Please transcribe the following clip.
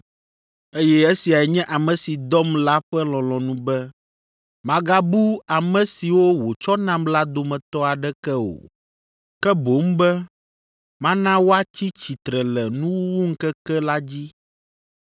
Eye esiae nye ame si dɔm la ƒe lɔlɔ̃nu be magabu ame siwo wòtsɔ nam la dometɔ aɖeke o, ke boŋ be mana woatsi tsitre le nuwuwuŋkeke la dzi.